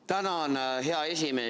Tänan, hea esimees!